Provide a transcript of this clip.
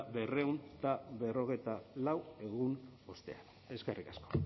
berrehun eta berrogeita lau egun ostean eskerrik asko